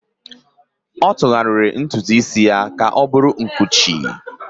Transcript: ọ tụgharịrị ntutu isi ya ka ọ bụrụ nkụchi